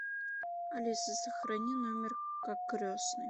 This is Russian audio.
алиса сохрани номер как крестный